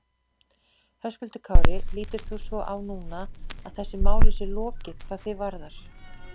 Höskuldur Kári: Lítur þú svo á núna að þessu máli sé lokið hvað þig varðar?